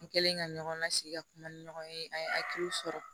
N kɛlen ka ɲɔgɔn lasigi ka kuma ni ɲɔgɔn ye an ye hakiliw sɔrɔ